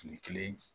Kile kelen